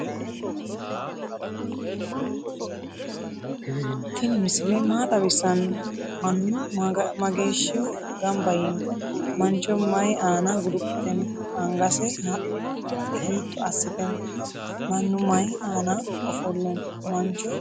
tini misile maa xawisano? maanu mageshihu ganba yino? mancho mayi aana guluphite no?angase hitto asite no?manu mayi anna offole no?mancho maa uddidhe no?